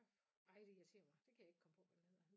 Ej det irriterer mig det kan jeg ikke komme på hvad den hedder